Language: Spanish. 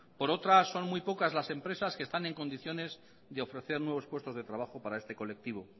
por otra son muy pocas las empresas que están en condiciones de ofrecer nuevos puestos de trabajo para este colectivo